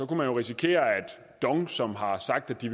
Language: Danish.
risikere at dong som har sagt at de